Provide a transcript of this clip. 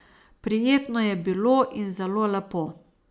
Prijetno je bilo in zelo lepo.